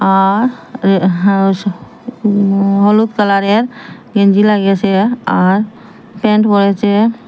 আর হু হা হলুদ কালার -এর গেঞ্জি লাগিয়াছে আর প্যান্ট পরেছে।